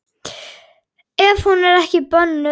Ef hún er ekki bönnuð.